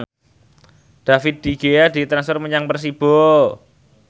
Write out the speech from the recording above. David De Gea ditransfer menyang Persibo